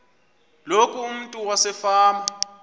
loku umntu wasefama